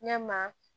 Ɲɛ ma